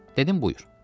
Dedim, buyur.